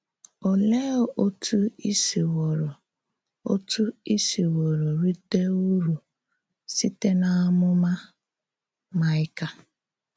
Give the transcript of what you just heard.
Olèé òtú í sìwòrò òtú í sìwòrò rìté ǔrù sị̀tè n’àmúmà Maịka?